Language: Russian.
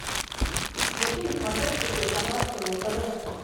включи на смотрешке телеканал кино тв